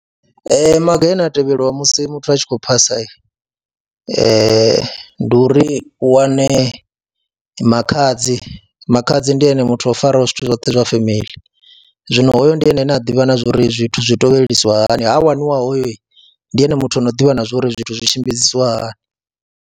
Ee, maga ane a tevhelwa musi muthu a tshi khou phasa ndi uri u wane makhadzi, makhadzi ndi ene muthu o faraho zwithu zwoṱhe zwa family zwino hoyo ndi ene ane a ḓivha na zwa uri zwithu zwi tevhelisiwa hani, zwino ha waniwa hoyu ndi ene muthu ano ḓivha na zwa uri zwithu zwi tshimbidzisa hani.